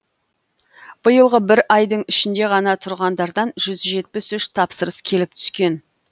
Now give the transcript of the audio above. биылғы бір айдың ішінде ғана тұрғындардан жүз жетпіс үш тапсырыс келіп түскен